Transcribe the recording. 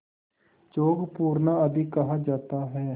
चौक पूरना आदि कहा जाता है